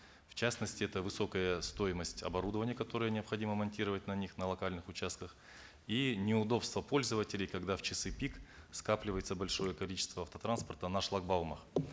в частности это высокая стоимость оборудования которое необходимо монтировать на них на локальных участках и неудобство пользователей когда в часы пик скапливается большое количество автотранспорта на шлагбаумах